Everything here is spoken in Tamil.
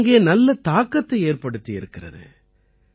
இது அங்கே நல்ல தாக்கத்தை ஏற்படுத்தியிருக்கிறது